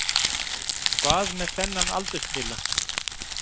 Hvað með þennan aldurtila?